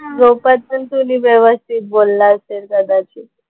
झोपेत पण ते मी व्यवस्थित बोलला असतील कदाचित.